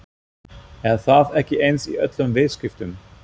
Er það ekki eins í öllum viðskiptum?